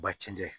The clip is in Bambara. Ba cɛncɛn